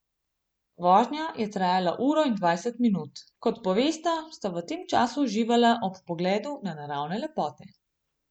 Vožnja je trajala uro in dvajset minut, kot povesta, sta v tem času uživala ob pogledu na naravne lepote.